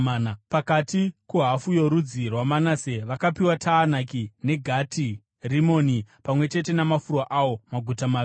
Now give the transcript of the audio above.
Pakati kuhafu yorudzi rwaManase vakapiwa Taanaki neGati Rimoni pamwe chete namafuro awo, maguta maviri.